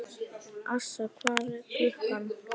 Assa, hvað er klukkan?